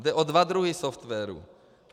Jde o dva druhy softwarů.